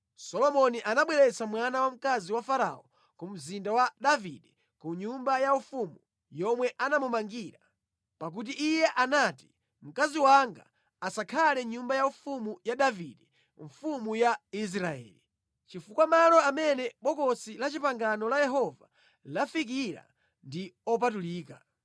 Solomoni anabweretsa mwana wamkazi wa Farao mu mzinda wa Davide ku nyumba yaufumu yomwe anamumangira, pakuti iye anati, “Mkazi wanga asakhale mʼnyumba yaufumu ya Davide mfumu ya Israeli, chifukwa malo amene Bokosi la Chipangano la Yehova lafikira ndi opatulika.”